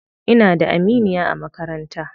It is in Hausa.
Ina da aminiya a makaranta.